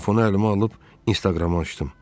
Telefonu əlimə alıb Instagramı açdım.